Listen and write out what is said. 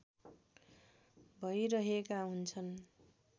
भैरहेका हुन्छन्